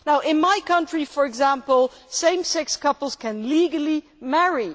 In my country for example, same sex couples can legally marry.